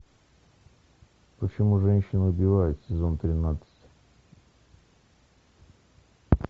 почему женщины убивают сезон тринадцать